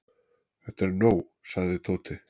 Þetta er nóg sagði Tóti.